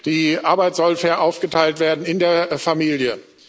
Die Arbeit soll fair aufgeteilt werden in der Familie.